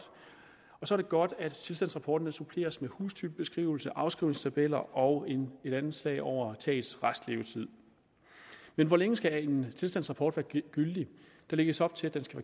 og det er godt at tilstandsrapporten suppleres med hustypebeskrivelse afskrivningstabeller og et anslag over tagets restlevetid hvor længe skal en tilstandsrapport være gyldig der lægges op til at den skal